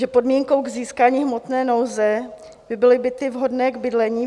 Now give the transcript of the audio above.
Že podmínkou k získání hmotné nouze by byly byty vhodné k bydlení.